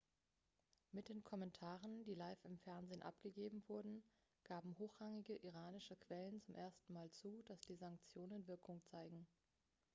mit den kommentaren die live im fernsehen abgegeben wurden gaben hochrangige iranische quellen zum ersten mal zu dass die sanktionen wirkung zeigen.x